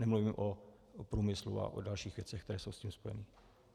Nemluvím o průmyslu a o dalších věcech, které jsou s tím spojeny.